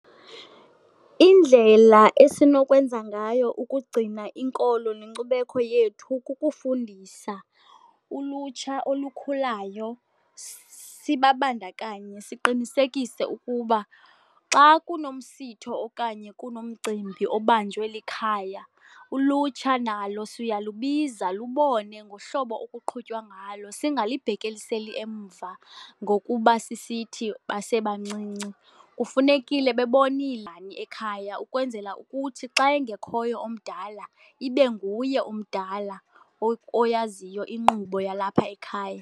Indlela esinokwenza ngayo ukugcina inkolo nenkcubeko yethu kukufundisa ulutsha olukhulayo, sibabandakanye, siqinisekise ukuba xa kunomsitho okanye kunomcimbi obanjwe likhaya ulutsha nalo siyalubiza lubone ngohlobo okuqhutywa ngalo. Singalibhekiseli emva ngokuba sisithi basebancinci, kufunekile bebonile ekhaya ukwenzela ukuthi xa engekhoyo omdala ibe nguye omdala oyaziyo inkqubo yalapha ekhaya.